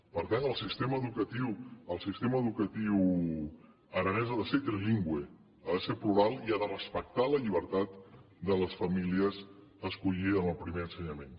per tant el sistema educatiu aranès ha de ser trilingüe ha de ser plural i ha de respectar la llibertat de les famílies a escollir en el primer ensenyament